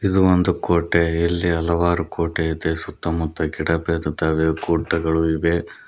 ಇದು ಒಂದು ಕೋಟೆ ಇಲ್ಲಿ ಹಲವಾರು ಕೋಟೆ ಇದೆ ಸುತ್ತಮುತ್ತ ಗಿಡ ಬೆಳದಿದ್ದಾವೆ ಗುಡ್ಡಗಳು ಇವೆ.